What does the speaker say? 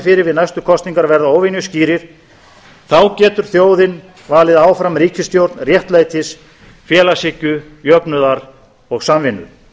fyrir við næstu kosningar verða óvenjuskýrir þá getur þjóðin valið áfram ríkisstjórn réttlætis félagshyggju jöfnuðar og samvinnu